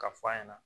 Ka f'a ɲɛna